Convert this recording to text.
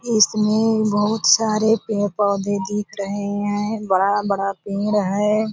इसमें बहुत सारे पेड़-पौधे दिख रहे है बड़ा-बड़ा पेड़ है।